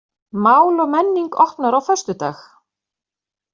Mál og menning opnar á föstudag